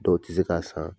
Dɔw tɛ se k'a san